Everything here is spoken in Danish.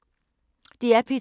DR P2